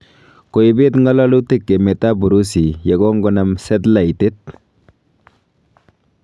Koibet ngololuutik Emet ab Urusi yengogonaam setlaitit.